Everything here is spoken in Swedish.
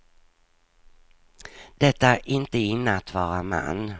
Det är inte inne att vara man.